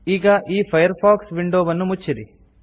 ಈಗ ಈ ಫೈರ್ಫಾಕ್ಸ್ ವಿಂಡೊವನ್ನು ಮುಚ್ಚಿರಿ